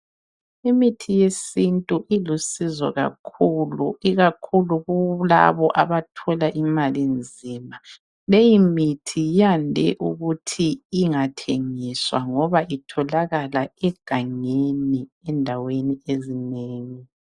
Imithi yesintu ilusizo kakhulu, ikakhulu kulabo abathola imali nzima. Leyi mithi yande ukuthi ingathengiswa ngoba itholakala egangeni endaweni ezinengi.